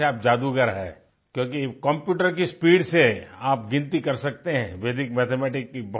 जैसे आप जादूगर हैं क्योंकि कंप्यूटर की स्पीड से आप गिनती कर सकते हैं वेदिक मैथमेटिक्स की